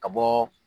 Ka bɔ